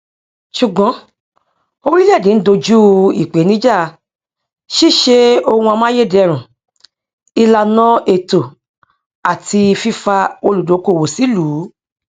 ṣùgbọn oríléèdè ń doju ìpènijà ṣíṣe ohun amáyédẹrùn ìlàna ètò àti fífa olùdókóòwò sílùú